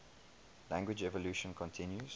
language evolution continues